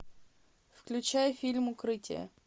включай фильм укрытие